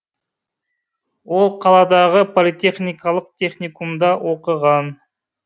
ол қаладағы политехникалық техникумда оқыған